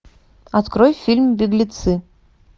открой фильм беглецы